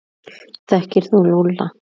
Þekkir þú Lúlla?